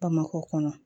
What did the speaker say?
Bamakɔ kɔnɔ